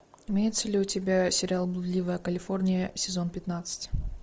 имеется ли у тебя сериал блудливая калифорния сезон пятнадцать